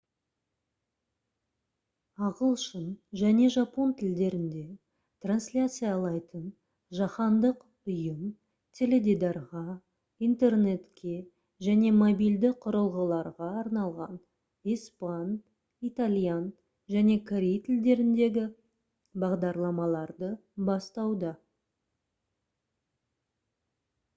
ағылшын және жапон тілдерінде трансляциялайтын жаһандық ұйым теледидарға интернетке және мобильді құрылғыларға арналған испан итальян және корей тілдеріндегі бағдарламаларды бастауда